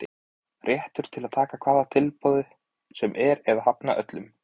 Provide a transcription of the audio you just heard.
Réttur til að taka hvaða tilboði sem er eða hafna öllum.